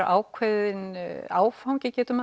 ákveðinn áfangi getum